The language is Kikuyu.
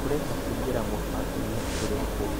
ũrenda kũingĩra mũbangoinĩ ũrĩkũ?